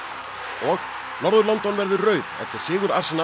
og norður London verður rauð eftir sigur